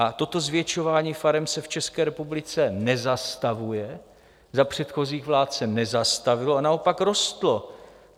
A toto zvětšování farem se v České republice nezastavuje, za předchozích vlád se nezastavilo a naopak rostlo.